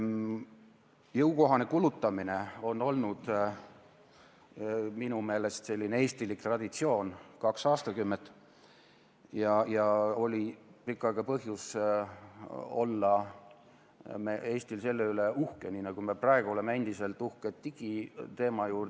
Jõukohane kulutamine on olnud minu meelest eestilik traditsioon kaks aastakümmet ja Eestil oli pikka aega põhjust olla selle üle uhke, nii nagu me oleme endiselt uhked digiteema üle.